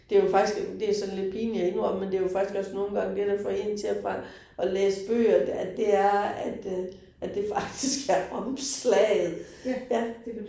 Det jo faktisk, det sådan lidt pinligt at indømme, men det jo faktisk også nogle gange det, der får én til at at læse bøger at det er, at øh at det faktisk er omslaget ja